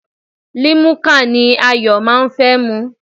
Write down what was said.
Limuka ni Ayọ̀ máa ń fẹ́ mu.